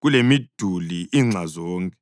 kulemiduli inxa zonke.